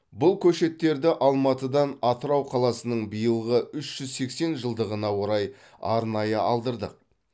бұл көшеттерді алматыдан атырау қаласының биылғы үш жүз сексен жылдығына орай арнайы алдырдық